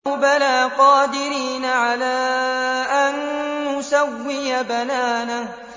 بَلَىٰ قَادِرِينَ عَلَىٰ أَن نُّسَوِّيَ بَنَانَهُ